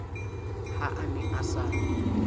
ha a ne a sa